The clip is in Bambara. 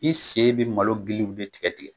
I sen bɛ malo giliw bɛ tigɛ tigɛ.